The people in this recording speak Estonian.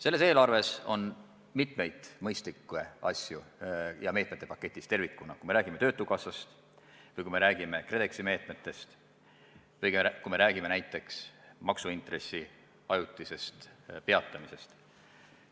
Selles eelarves on mitmeid mõistlikke asju ja meetmete paketid tervikuna, kui me räägime töötukassast või kui me räägime KredExi meetmetest või kui me räägime näiteks maksuintressi ajutisest peatamisest, on vajalikud.